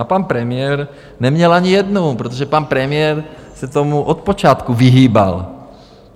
A pan premiér neměl ani jednou, protože pan premiér se tomu od počátku vyhýbal.